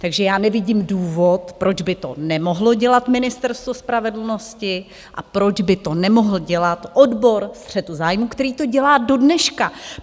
Takže já nevidím důvod, proč by to nemohlo dělat Ministerstvo spravedlnosti a proč by to nemohl dělat odbor střetu zájmů, který to dělá dodneška.